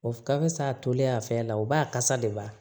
O ka fisa a tolen a fɛn na o ba kasa de b'a